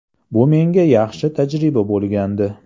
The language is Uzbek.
Bu menga yaxshi tajriba bo‘lgandi.